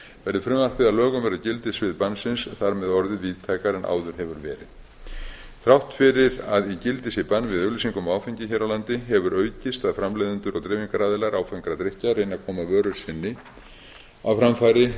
verði frumvarpið að lögum verði gildissvið bannsins þar með orðið víðtækara en áður hefur verið þrátt fyrir að í gildi sé bann við auglýsingum á áfengi hér á landi hefur aukist að framleiðendur og dreifingaraðilar áfengra drykkja reyna að koma vöru sinni á framfæri í